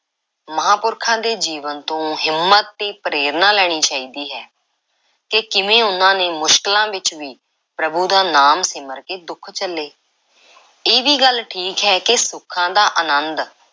ਮਹਾਂਪੁਰਖਾਂ ਦੇ ਜੀਵਨ ਤੋਂ ਹਿੰਮਤ ਤੇ ਪ੍ਰੇਰਨਾ ਲੈਣੀ ਚਾਹੀਦੀ ਹੈ ਕਿ ਕਿਵੇਂ ਉਹਨਾਂ ਨੇ ਮੁਸ਼ਕਿਲਾਂ ਵਿੱਚ ਵੀ ਪ੍ਰਭੂ ਦਾ ਨਾਮ ਸਿਮਰ ਕੇ ਦੁੱਖ ਝੱਲੇ। ਇਹ ਵੀ ਗੱਲ ਠੀਕ ਹੈ ਕਿ ਸੁੱਖਾਂ ਦਾ ਆਨੰਦ